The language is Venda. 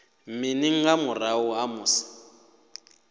mini nga murahu ha musi